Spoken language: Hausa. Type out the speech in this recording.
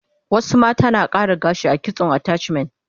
Wasu mata na kara gashi a kitson attachment